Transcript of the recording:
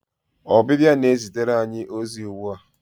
Ọbịbịa na-ezitere anyị ozi ugbu a.